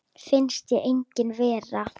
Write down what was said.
Finnst hún engin vera.